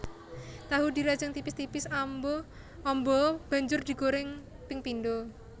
Tahu dirajang tipis tipis amba banjur digoreng ping pindho